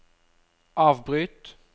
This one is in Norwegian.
avbryt